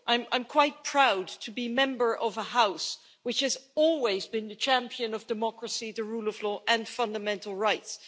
I am quite proud to be a member of a House which has always been the champion of democracy, the rule of law and fundamental rights.